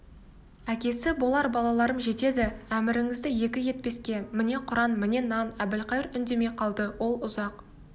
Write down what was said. әкесі болар балаларым жетеді әміріңізді екі етпеске міне құран міне нан әбілқайыр үндемей қалды ол ұзақ